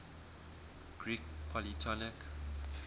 greek polytonic